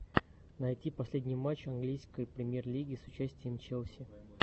найти последний матч английской премьер лиги с участием челси